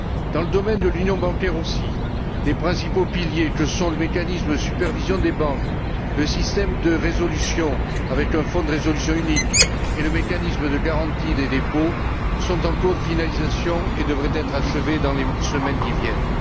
Dans le domaine de l'union bancaire aussi, les principaux piliers que sont le mécanisme de supervision des banques, le système de résolution avec un fonds de résolution unique et le mécanisme de garantie des dépôts sont en cours de finalisation et devraient être achevés dans les semaines qui viennent.